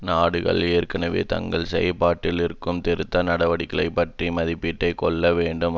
நாடுகள் ஏற்கனவே தாங்கள் செயல்படுத்தியிருக்கும் திருத்த நடவடிக்கைகள் பற்றிய மதிப்பீட்டை கொள்ள வேண்டும்